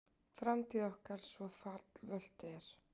Framtíð okkar svo fallvölt er.